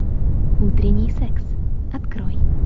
утренний секс открой